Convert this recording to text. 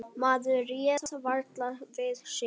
Maður réð varla við sig.